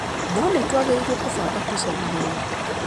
No nĩ twagĩrĩirũo kũbanga tũcemania.